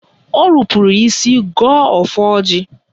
O rupuru isi gọọ ọfọ ọjị.